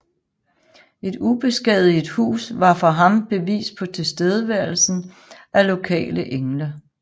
Et ubeskadiget hus var for ham bevis på tilstedeværelsen af lokale engle